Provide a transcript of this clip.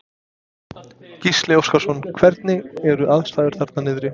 Gísli Óskarsson: Hvernig eru aðstæður þarna niðri?